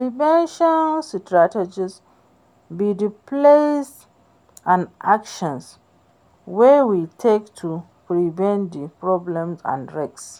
Prevention strategies be di plans and actions wey we take to prevent di problems and risks.